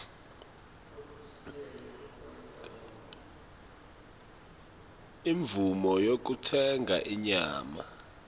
imvumo yekutsenga inyama